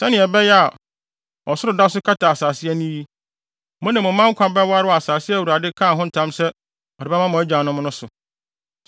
sɛnea ɛbɛyɛ a, ɔsoro da so kata asase ani yi, mo ne mo mma nkwa bɛware wɔ asase a Awurade kaa ho ntam sɛ ɔde bɛma mo agyanom no so.